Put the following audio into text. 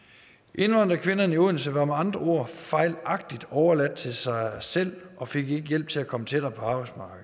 indvandrerkvinderne i odense var med andre ord fejlagtigt overladt til sig selv og fik ikke hjælp til at komme tættere